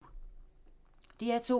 DR2